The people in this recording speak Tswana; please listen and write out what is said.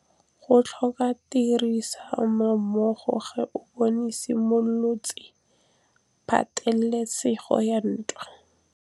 Go tlhoka tirsanommogo ga bone go simolotse patêlêsêgô ya ntwa.